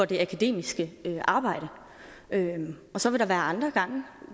det akademiske arbejde og så vil der være andre gange